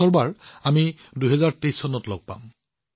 পৰৱৰ্তী খণ্ডত আমি ২০২৩ চনত লগ পাম